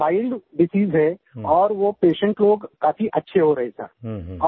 वो mild disease है और वो पेशेंट लोग काफ़ी अच्छे हो रहे हैं सर